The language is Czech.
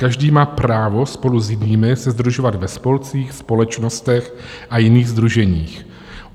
Každý má právo spolu s jinými se sdružovat ve spolcích, společnostech a jiných sdruženích.